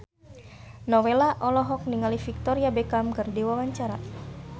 Nowela olohok ningali Victoria Beckham keur diwawancara